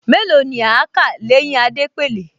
Mélòó ni kí á kà l’éyín Adépèlé?